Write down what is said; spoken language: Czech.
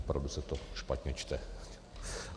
Opravdu se to špatně čte.